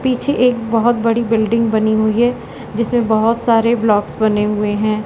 पीछे एक बहोत बड़ी बिल्डिंग बनी हुई है जिसमें बहोत सारे ब्लॉक्स बने हुए हैं।